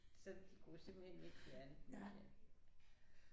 Så de kunne simpelthen ikke fjerne den igen